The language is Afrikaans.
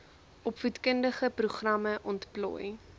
opvoedkundige programme ontplooi